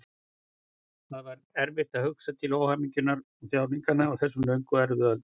Það er svo erfitt að hugsa til óhamingjunnar og þjáninganna á þessum löngu erfiðu öldum.